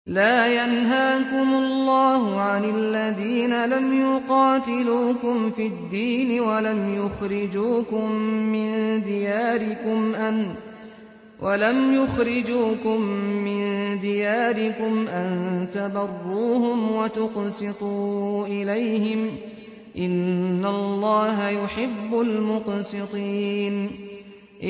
لَّا يَنْهَاكُمُ اللَّهُ عَنِ الَّذِينَ لَمْ يُقَاتِلُوكُمْ فِي الدِّينِ وَلَمْ يُخْرِجُوكُم مِّن دِيَارِكُمْ أَن تَبَرُّوهُمْ وَتُقْسِطُوا إِلَيْهِمْ ۚ إِنَّ اللَّهَ يُحِبُّ الْمُقْسِطِينَ